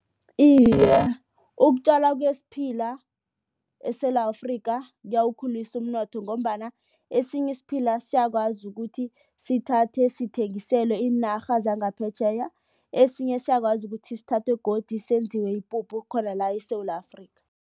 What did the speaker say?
Iye, ukutjalwa kwesiphila eSewula Afrika kuyawukhulisa umnotho ngombana esinye isiphila siyakwazi ukuthi sithathe sithengisele iinarha zangaphetjheya. Esinye siyakwazi ukuthi sithathwe godu senziwe ipuphu khona la eSewula Afrika.